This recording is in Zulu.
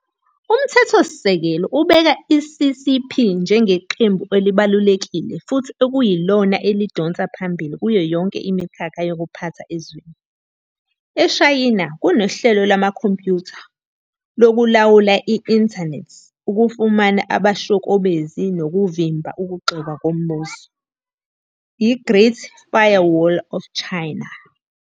Umthethosikelelo ubeka i-CCP njengeqembu elibalulekile futhi ekuyilona elidonsa phambili kuyonke imikhakha yokuphatha ezweni. EShayina kunohlelo lwamakhompyutha loku lawula i-inthanethi ukufumana abashokobezi nokuvimba ukugxekwa kombuso, i-"Great Firewall of China".